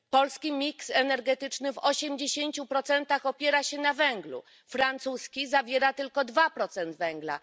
Polski mix energetyczny w osiemdziesięciu procentach opiera się na węglu, francuski zawiera tylko dwa procent węgla.